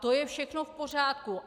To je všechno v pořádku.